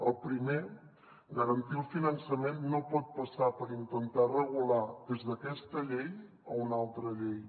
el primer garantir el finançament no pot passar per intentar regular des d’aquesta llei una altra llei